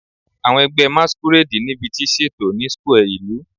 Awọn ẹgbẹ Masquerade nibiti ṣeto ni square ilu